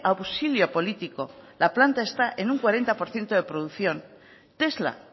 auxilio político la planta está en un cuarenta por ciento de producción tesla